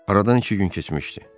Aradan iki gün keçmişdi.